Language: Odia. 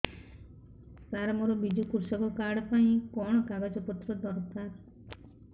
ସାର ମୋର ବିଜୁ କୃଷକ କାର୍ଡ ପାଇଁ କଣ କାଗଜ ପତ୍ର ଦରକାର